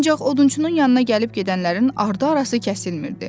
Ancaq odunçunun yanına gəlib gedənlərin ardı-arası kəsilmirdi.